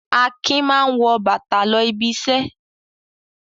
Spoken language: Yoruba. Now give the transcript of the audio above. Akin máa ń wọ bàtà lọ ibiṣẹ́.